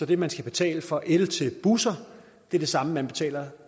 det man skal betale for el til busser er det samme man betaler